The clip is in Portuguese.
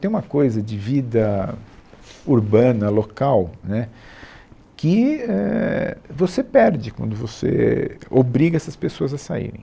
Tem uma coisa de vida urbana, local, né, que, é, você perde quando você obriga essas pessoas a saírem.